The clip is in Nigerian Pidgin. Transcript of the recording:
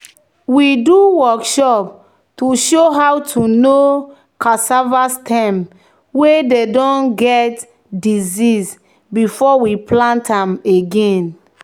"we do workshop to show how to know cassava stem wey don get disease before we plant am again."